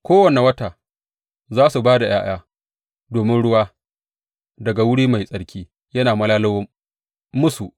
Kowane wata za su ba da ’ya’ya domin ruwa daga wuri mai tsarki yana malalo musu.